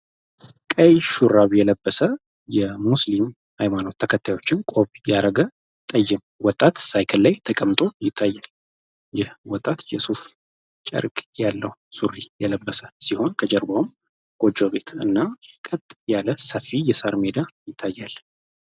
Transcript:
ቀይ ሹራብ የለበሰ የሙስሊም ሃይማኖ ተከታዮችን ቆብ ያረገ ጠይም ወጣት ሳይክል ላይ ተቀምጦ ይታያል። ይህ ወጣት የሱፍ ጨርቅ ያለው ሱሪ የለበሰ ሲሆን ከጀርባውም ጎጆ ቤት እና ቀጥ ያለ ሰፊ የሳርሜዳ ይታያል።